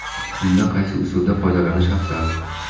Unda qaysi usuldan foydalanish afzal?.